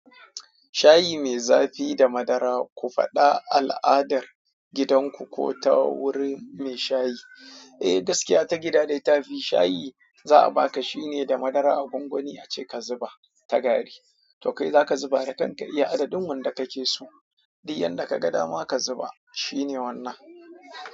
Shayi mai zafi da madara ku faɗa al'adar gidan ku ko ta gurin mai shayi eh, gaskiya ta gida da yafi shayi za a baka shine da madara a gwangwani ace ka zuba ta gari. To kai zaka zuba da kanka iya adadin wanda kake so. Dukkan yanda ka ga dama ka zuba shine wannan.